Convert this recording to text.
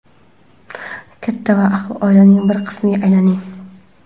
Katta va ahil oilaning bir qismiga aylaning!.